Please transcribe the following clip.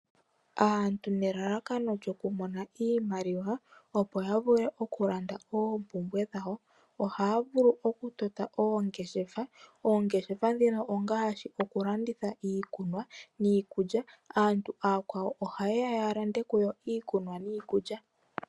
Aantu nelalakano lyokumona iimaliwa opo ya vule okulanda oompumbwe dhawo, ohaya vulu okutota oongeshefa. Oongeshefa dhino ongaashi okulanditha iikunwa niikulya. Aantu aakwawo ohaye ya ya lande kuyo iikunwa niikulya.